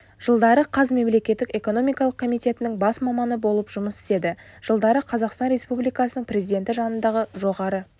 жылдары қаз мемлекеттік экономикалық комитетінің бас маманы болып жұмыс істеді жылдары қазақстан республикасының президенті жанындағы жоғары